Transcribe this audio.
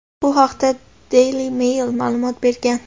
Bu haqda "Daily Mail" ma’lumot bergan.